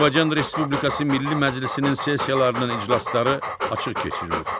Azərbaycan Respublikası Milli Məclisinin sessiyalarının iclasları açıq keçirilir.